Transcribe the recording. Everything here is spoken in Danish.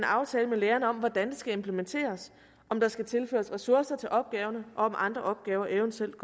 aftale med lægerne om hvordan det skal implementeres om der skal tilføres ressourcer til opgaverne og om andre opgaver eventuelt